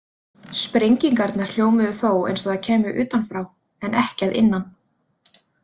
Sprengingarnar hljómuðu þó eins og þær kæmu utanfrá, en ekki að innan.